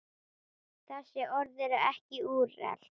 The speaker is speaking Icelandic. Þessi orð eru ekki úrelt.